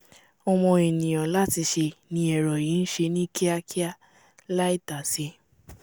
ọmọ ènìà láti ṣe ni ẹ̀rọ yìí nṣe ní kíákíá láì tàsé